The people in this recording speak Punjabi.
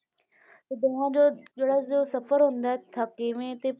ਤੇ ਬਾਅਦ ਜਿਹੜਾ ਜੋ ਸਫ਼ਰ ਹੁੰਦਾ ਹੈ, ਥਕੇਵੇਂ ਤੇ